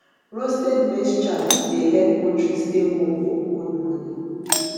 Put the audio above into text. roasted maize chaff dey help poultry stay warm for cold morning